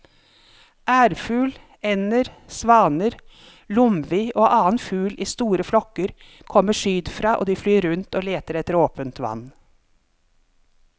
Ærfugl, ender, svaner, lomvi og annen fugl i store flokker kommer sydfra og de flyr rundt og leter etter åpent vann.